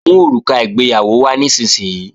Mú òrùka ìgbéyàwó wá nísinsìnyí!